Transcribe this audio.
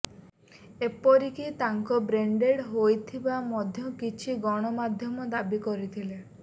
ଏପରି କି ତାଙ୍କ ବ୍ରେନ ଡେଡ ହୋଇଥିବା ମଧ୍ୟ କିଛି ଗଣମାଧ୍ୟମ ଦାବି କରିଥିଲେ